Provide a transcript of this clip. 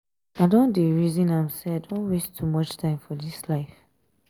i don dey resin am sey i don waste too much time for dis life.